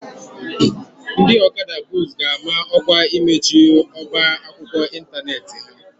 Ndị Okada books ga-ama ọkwa imechi ọba akwụkwọ ịntanetị ha.